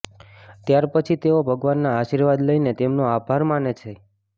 ત્યારપછી તેઓ ભગવાનના આશીર્વાદ લઇને તેમનો આભાર માને છે